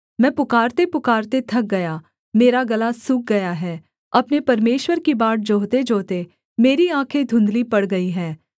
मैं पुकारतेपुकारते थक गया मेरा गला सूख गया है अपने परमेश्वर की बाट जोहतेजोहते मेरी आँखें धुँधली पड़ गई हैं